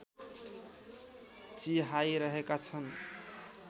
चिहाइरहेका छन्